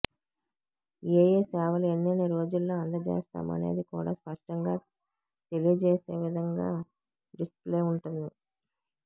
ఏయే సేవలు ఎన్నెన్ని రోజుల్లో అందజేస్తామనేది కూడా స్పష్టంగా తెలియజేసేవిధంగా డిస్ప్లే ఉంటుంది